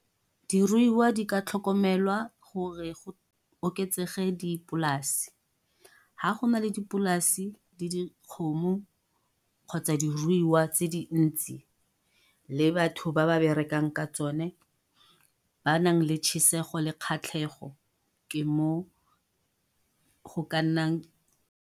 Diruiwa di ka tlhokomelwa gore go oketsege dipolase, ha go na le dipolase le dikgomo, kgotsa diruiwa tse dintsi le batho ba ba berekang ka tsone. Ba nang le le kgatlhego ke mo go ka nnang.